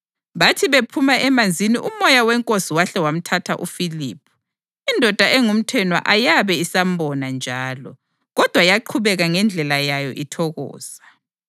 Bathi bephuma emanzini uMoya weNkosi wahle wamthatha uFiliphu, indoda engumthenwa ayabe isambona njalo, kodwa yaqhubeka ngendlela yayo ithokoza.